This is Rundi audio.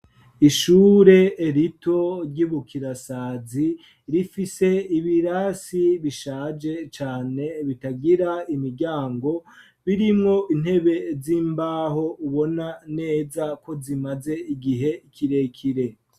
Ishure rito ry'ibukirasazi rifise ibirasi bishaje cane bitagira imiryango, birimwo intebe z'imbaho ubona neza ko zimaze igihe kirekire.